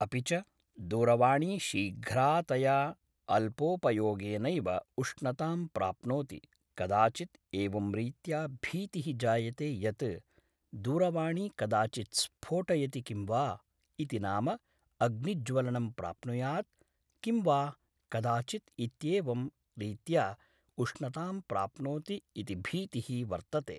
अपि च दूरवाणी शीघ्रातया अल्पोपयोगेनैव उष्णतां प्राप्नोति कदाचित् एवं रीत्या भीतिः जायते यत् दूरवाणी कदाचित् स्फोटयति किं वा इति नाम अग्निज्वलनं प्राप्नुयात् किं वा कदाचित् इत्येवं रीत्या उष्णतां प्राप्नोति इति भीतिः वर्तते